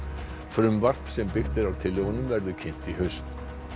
frumvarp sem byggt er á tillögunum verður kynnt í haust